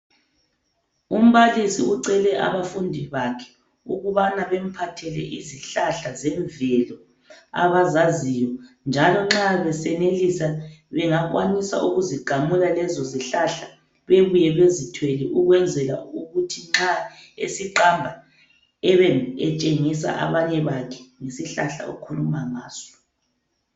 Umbalisi ucele abafundi bakhe ukubana bemphathele izihlahla zemvelo abazaziyo njalo nxa besenelisa bengakwanisa ukuzigamula lezo zihlahla bebuye bezithwele ukwenzela ukuthi nxa esiqamba abe etshengisa abanye bakhe ngesihlahla okhuluma ngaso.